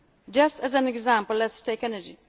prices. Just as an example, let us